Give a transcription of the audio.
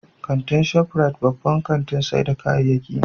Kantin Shop Rite babban kantin sayar da kayyaki ne